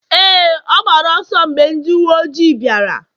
Éè, ọ gbara ọsọ mgbe ndị uwe ojii bịara